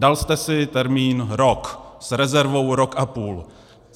Dal jste si termín rok, s rezervou rok a půl.